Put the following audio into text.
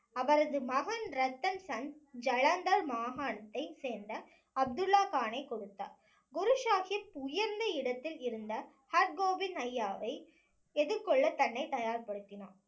அவரது மகன் ரத்தன் சந்த் ஜலந்தர் மாகாணத்தை சேர்ந்த அப்துல்லா கானை கொடுத்தார் குரு சாஹிப் உயர்ந்த இடத்தில் இருந்த ஹர்கோபிந்த் ஐயாவை எதிர்கொள்ள தன்னை தயார்படுத்தினார்